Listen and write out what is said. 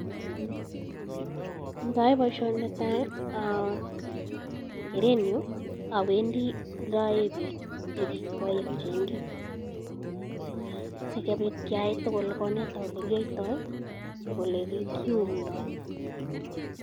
yo ayae paishenyu awendi lemi piko chekikwae ako cheingen sokopit keyai tokol sokoneta chekiyaita ako lekiumdo.